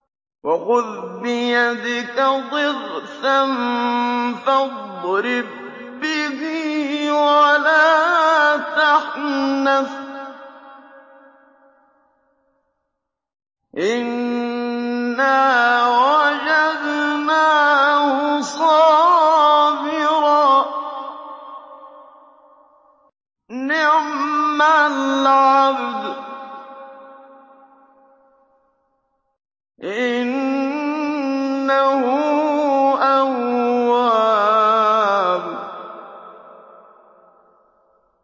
وَخُذْ بِيَدِكَ ضِغْثًا فَاضْرِب بِّهِ وَلَا تَحْنَثْ ۗ إِنَّا وَجَدْنَاهُ صَابِرًا ۚ نِّعْمَ الْعَبْدُ ۖ إِنَّهُ أَوَّابٌ